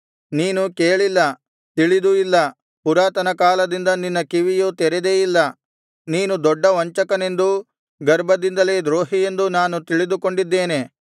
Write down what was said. ನೀನು ಕೇಳಿಲ್ಲ ತಿಳಿದೂ ಇಲ್ಲ ಪುರಾತನಕಾಲದಿಂದ ನಿನ್ನ ಕಿವಿಯು ತೆರೆದೇ ಇಲ್ಲ ನೀನು ದೊಡ್ಡ ವಂಚಕನೆಂದೂ ಗರ್ಭದಿಂದಲೇ ದ್ರೋಹಿಯೆಂದು ನಾನು ತಿಳಿದುಕೊಂಡಿದ್ದೇನೆ